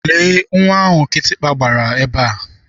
Lee nwa ahụ kịtịkpa gbara ebea.